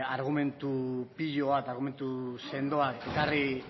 argumentu pilo bat argumentu sendoak